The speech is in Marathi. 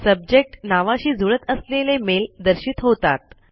सब्जेक्ट नावाशी जुळत असलेले मेल दर्शित होतात